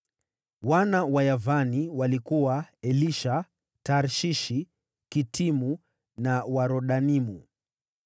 Wana wa Yavani walikuwa: Elisha, Tarshishi, Kitimu na Rodanimu.